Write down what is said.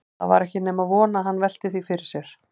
Það var ekki nema von að hann velti því fyrir sér.